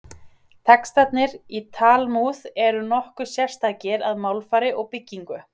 Textarnir í Talmúð eru nokkuð sérstakir að málfari og byggingu.